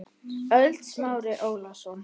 ÖLD Smári Ólason